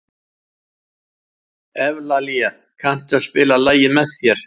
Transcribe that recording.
Evlalía, kanntu að spila lagið „Með þér“?